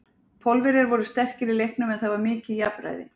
Pólverjar voru sterkir í leiknum, en það var mikið jafnræði.